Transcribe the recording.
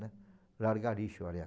Largar lixo